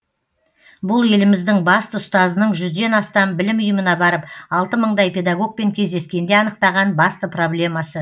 бұл еліміздің басты ұстазының жүзден астам білім ұйымына барып алты мыңдай педагогпен кездескенде анықтаған басты проблемасы